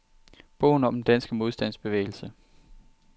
Bogen om den danske modstandsbevægelse.